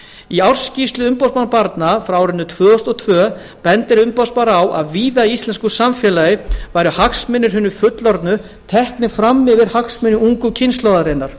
í ársskýrslu umboðsmanns barna frá árinu tvö þúsund og tvö benti umboðsmaður barna á að víða í íslensku samfélagi væru hagsmunir hinna fullorðnu teknir fram yfir hagsmuni ungu kynslóðarinnar